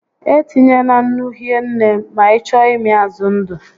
E tinyena nnu hie nne ma ị chọọ ịmị azụ ndụ